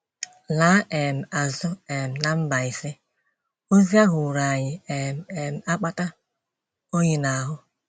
Laa um azụ um na Mbaise, ozi ahụ wụrụ anyị um um akpata oyi n’ahụ.